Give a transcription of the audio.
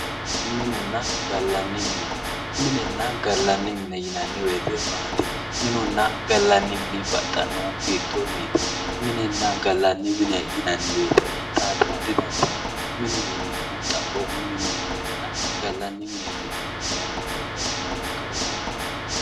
Minenna gallanni mine yinanni woyiite minunna gallanni mini baxxannohi hiittoonniiti minenna gallanni mine yinanni woyiite baxxara didandaanno mineho yineemmohu xaphoomunni mine ikkanna gallanni mineeti yinannihu kayii babbaxxinoha ikkara dandaanno